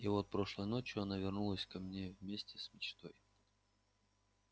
и вот прошлой ночью она вернулась ко мне вместе с мечтой